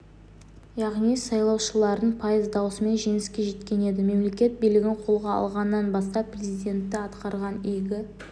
яғни сайлаушылардың пайыз дауысымен жеңіске жеткен еді мемлекет билігін қолға алғаннан бастап президенті атқарған игі